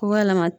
K'u yɛlɛma